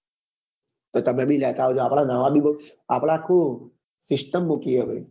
તો તમે બી લેતા આવજો આપડા નવા બી બૌ આપડે આખું system રોકીએ